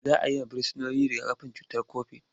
Za a yi wa Firsinoni riga-kafin cutar kobit.